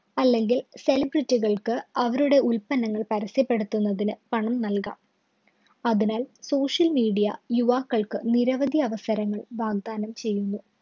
അല്ലെങ്കില്‍ celebrity കള്‍ക്ക് അവരുടെ ഉത്പന്നങ്ങള്‍ പരസ്യപ്പെടുത്തുന്നതിന് പണം നല്‍കാം. അതിനാല്‍ social media യുവാക്കള്‍ക്ക് നിരവധി അവസരങ്ങള്‍ വാഗ്ദാനം ചെയ്യുന്നു.